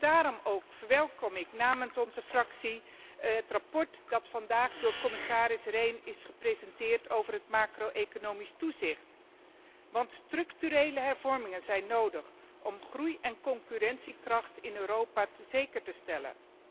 Daarom ook verwelkom ik namens onze fractie het verslag dat door commissaris Rehn is gepresenteerd over het macro economisch toezicht. Want structurele hervormingen zijn nodig om groei en concurrentiekracht in Europa zeker te stellen.